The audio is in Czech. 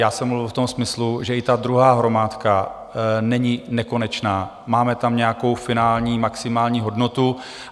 Já jsem mluvil v tom smyslu, že i ta druhá hromádka není nekonečná, máme tam nějakou finální maximální hodnotu.